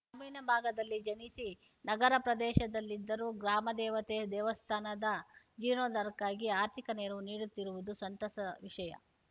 ಗ್ರಾಮೀಣ ಭಾಗದಲ್ಲಿ ಜನಿಸಿ ನಗರ ಪ್ರದೇಶದಲ್ಲಿದ್ದರೂ ಗ್ರಾಮ ದೇವತೆ ದೇವಸ್ಥಾನದ ಜೀರ್ಣೋದ್ಧಾರಕ್ಕಾಗಿ ಆರ್ಥಿಕ ನೆರವು ನೀಡುತ್ತಿರುವುದು ಸಂತಸ ವಿಷಯ